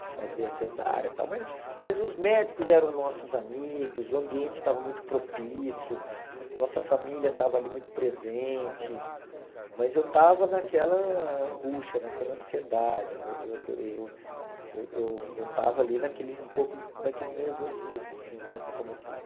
de fazer a cesárea e tal, mas mas os médicos eram nossos amigos, o ambiente estava muito propício, nossa família estava ali muito presente, mas eu estava naquela angústia, naquela ansiedade, eu eu eu eu eu estava ali naquele um pouco naquele nervosismo, assim né, como pai.